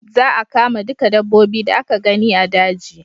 Za a kama duka dabbobi da aka gani a daji